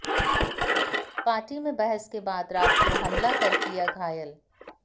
party में बहस के बाद रात को हमला कर किया घायल